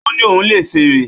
Ó ní òun lè fèrè